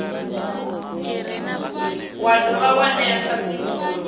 wa dovha wa ṅea thasululo